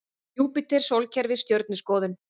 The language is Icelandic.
Júpíter Sólkerfið Stjörnuskoðun.